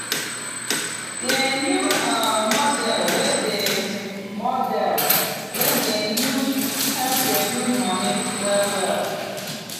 di new um model wey dem model wey dem use help reduce money well well.